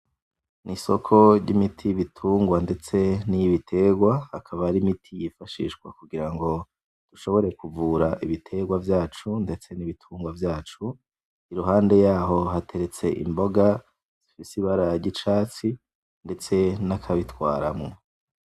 N'isoko ry'imiti y'ibitungwa ndetse niy'ibiterwa. Akaba ari imiti yifashishwa kugira ngo dushobore kuvura ibiterwa vyacu ndetse nibitungwa vyacu. Iruhande yaho hateretse imboga zifise ibara ry'icatsi ndetse nakabitwaramwo.